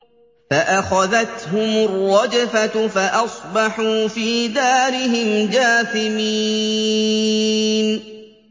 فَأَخَذَتْهُمُ الرَّجْفَةُ فَأَصْبَحُوا فِي دَارِهِمْ جَاثِمِينَ